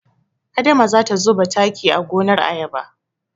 Adama za ta zuba taki a gonar ayaba.